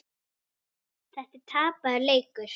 Þetta er tapaður leikur.